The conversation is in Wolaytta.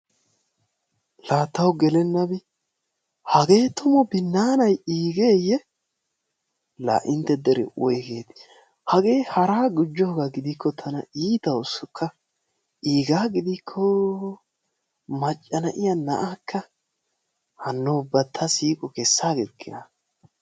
La taw gelennabi! Hage tumu binannay iigeyye? La intte dere woyggeti? Hagee hara gujjooga gidiko tana iitawusikka, iiga gidikko macca na'iyaa na'akka! Hano ubba ta siiqo keessagikkina.